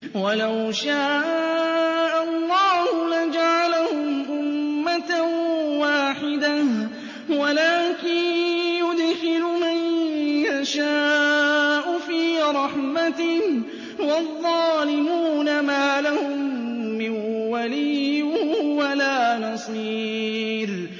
وَلَوْ شَاءَ اللَّهُ لَجَعَلَهُمْ أُمَّةً وَاحِدَةً وَلَٰكِن يُدْخِلُ مَن يَشَاءُ فِي رَحْمَتِهِ ۚ وَالظَّالِمُونَ مَا لَهُم مِّن وَلِيٍّ وَلَا نَصِيرٍ